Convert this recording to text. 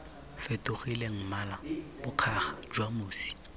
fetofileng mmala bokgaga jwa mosi